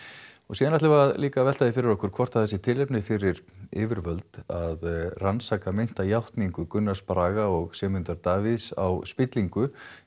svo ætlum við líka að velta fyrir okkur hvort það sé tilefni til fyrir yfirvöld að rannsaka meinta játningu Gunnars Braga og Sigmundar Davíðs á spillingu